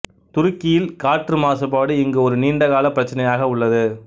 துருக்கியில் காற்று மாசுபாடு இங்கு ஒரு நீண்டகால பிரச்சினையாக உள்ளது